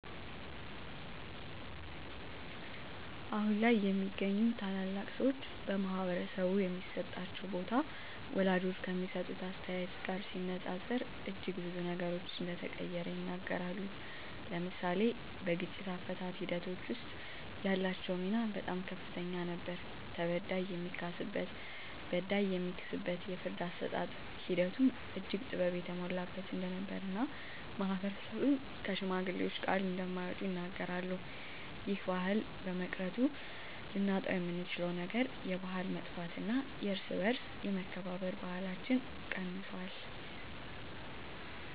አሁን ላይ የሚገኙ ታላላቅ ሰወች በማህበረሰቡ የሚሰጣቸው ቦታ ወላጆች ከሚሰጡት አስተያየት ጋር ሲነፃፀር እጅግ ብዙ ነገሮች እንደተቀየረ ይናገራሉ። ለምሳሌ በግጭት አፈታት ሒደቶች ወስጥ ያላቸው ሚና በጣም ከፍተኛ ነበር ተበዳይ የሚካስበት በዳይ የሚክስበት የፍርድ አሰጣጥ ሒደቱም እጅግ ጥበብ የተሞላበት እንደነበር እና ማህበረሰብም ከሽማግሌወች ቃል እንደማይወጡ ይናገራሉ። ይህ ባህል በመቅረቱ ልናጣውየምንችለው ነገር የባህል መጥፍት እና የእርስ በእርስ የመከባበር ባህለች ቀንሶል።